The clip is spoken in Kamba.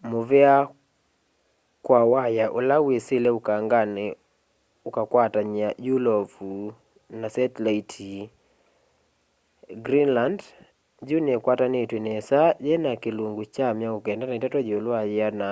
nimuvea kwa waya ula wisile ukangani ukakwatany'a yulovu na setilaiti greenland yu nikwatanitw'e nesa yina kilungu kya 93 yiulu wa yiana